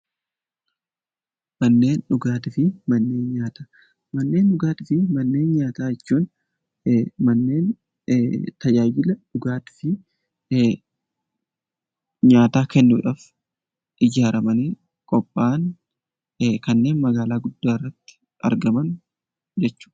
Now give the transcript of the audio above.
Manneen dhugaatii fi manneen nyaataa jechuun manneen tajaajila dhugaatii fi nyaataa kennuudhaaf ijaaramanii qophaa'an kanneen magaalaatti argaman jechuudha .